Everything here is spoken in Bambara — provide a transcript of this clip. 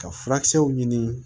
Ka furakisɛw ɲini